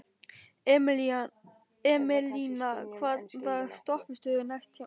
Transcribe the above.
Emelína, hvaða stoppistöð er næst mér?